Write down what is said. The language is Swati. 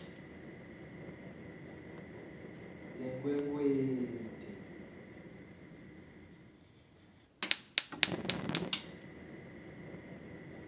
yenkhwekhweti